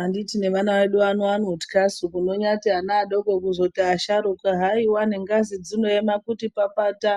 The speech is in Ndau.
Anditi nevana vedu vano vanotyasu kunonyati ana adoko kuzoti vasharuka hwaiwa nengzai dzinooma kuti papata,